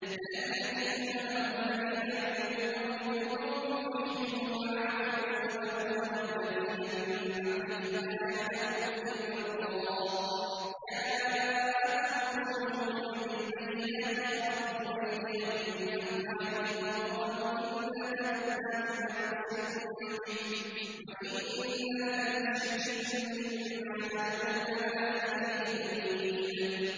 أَلَمْ يَأْتِكُمْ نَبَأُ الَّذِينَ مِن قَبْلِكُمْ قَوْمِ نُوحٍ وَعَادٍ وَثَمُودَ ۛ وَالَّذِينَ مِن بَعْدِهِمْ ۛ لَا يَعْلَمُهُمْ إِلَّا اللَّهُ ۚ جَاءَتْهُمْ رُسُلُهُم بِالْبَيِّنَاتِ فَرَدُّوا أَيْدِيَهُمْ فِي أَفْوَاهِهِمْ وَقَالُوا إِنَّا كَفَرْنَا بِمَا أُرْسِلْتُم بِهِ وَإِنَّا لَفِي شَكٍّ مِّمَّا تَدْعُونَنَا إِلَيْهِ مُرِيبٍ